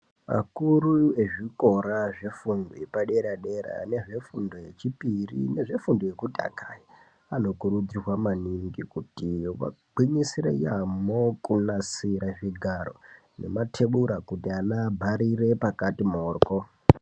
Akuru ezvikora zvefundo yepadera dera nezvefundo yechipiri nezvefundo yekutanga anokurudzirwa maningi kuti vagwinyisire yaamo kunasira zvigaro nematebura kuti vana vabharire pakati mhoryo.